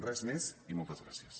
res més i moltes gràcies